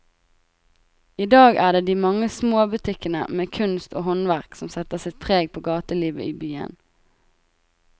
I dag er det de mange små butikkene med kunst og håndverk som setter sitt preg på gatelivet i byen.